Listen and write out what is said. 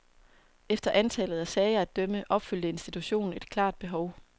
Efter antallet af sager at dømme opfyldte institutionen et klart behov.